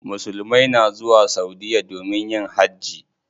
Musulmai na zuwa saudiya domin yin hajji.